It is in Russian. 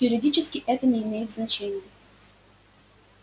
юридически это не имеет значения